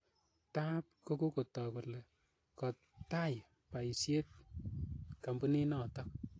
Taap kokotook kole kotaai paisyet kampunit notook.